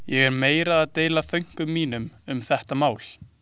Ég er meira að deila þönkum mínum um þetta mál.